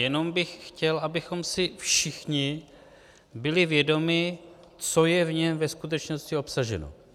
Jenom bych chtěl, abychom si všichni byli vědomi, co je v něm ve skutečnosti obsaženo.